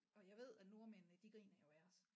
Og jeg ved at nordmændene de griner jo af os